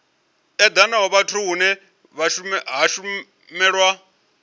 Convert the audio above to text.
edanaho fhethu hune ha shumelwa